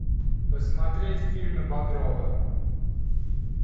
посмотреть фильмы багрова